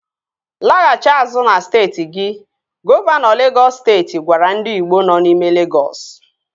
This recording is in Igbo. Laghachi azụ na steeti gi! Gọvanọ Legọs steeti gwara ndị igbo nọ n'ime Legọs